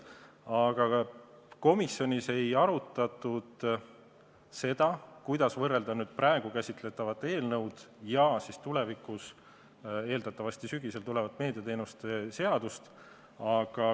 Aga komisjonis ei arutatud seda, kuidas võrrelda praegu käsitletavat eelnõu ja tulevikus, eeldatavasti sügisel tulevat meediateenuste seadust.